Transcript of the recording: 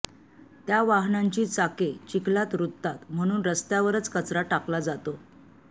त्या वाहनांची चाके चिखलात रुततात म्हणून रस्त्यावरच कचरा टाकला जातो